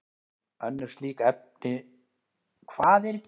Mér finnst að það þurfi að halda áfram hagsmunabaráttu sem snýr að aðstöðu.